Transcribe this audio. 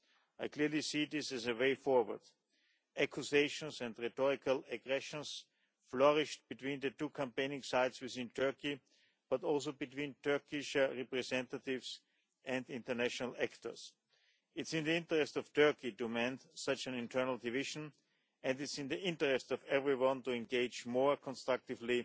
I clearly see this as a way forward. Accusations and rhetorical aggressions flourished between the two campaigning sides within Turkey, but also between Turkish representatives and international actors. It is in the interest of Turkey to mend such an internal division, and it is in the interest of everyone to engage more constructively